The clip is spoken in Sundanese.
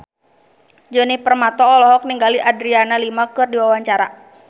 Djoni Permato olohok ningali Adriana Lima keur diwawancara